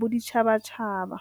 boditšhabatšhaba.